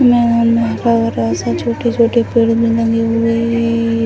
छोटे-छोटे पेड़ भी लगे हुएएए --